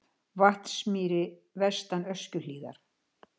Vatnsmýri vestan Öskjuhlíðar.